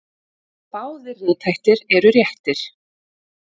Báðir rithættir eru réttir.